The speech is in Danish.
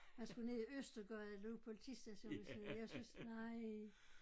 Han skulle ned i Østergade lå politistationen jeg syntes nej